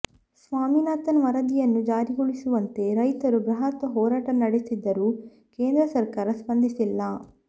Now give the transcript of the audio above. ಸ್ವಾಮಿನಾಥನ್ ವರದಿಯನ್ನು ಜಾರಿಗೊಳಿಸುವಂತೆ ರೈತರು ಬೃಹತ್ ಹೋರಾಟ ನಡೆಸಿದರೂ ಕೇಂದ್ರ ಸರ್ಕಾರ ಸ್ಪಂದಿಸಿಲ್ಲ